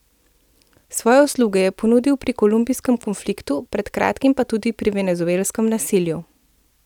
Svoje usluge je ponudil pri kolumbijskem konfliktu, pred kratkim pa tudi pri venezuelskem nasilju.